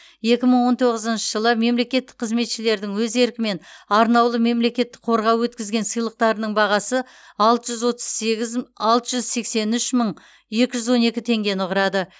екі мың он тоғызыншы жылы мемлекеттік қызметшілердің өз еркімен арнаулы мемлекеттік қорға өткізген сыйлықтарының бағасы алты жүз отыз сегіз алты жүз сексен үш мың екі жүз он екі теңгені құрады